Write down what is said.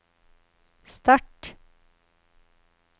start